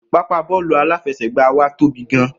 Pápáa bóòlù aláfesègbáa wa tóbi gan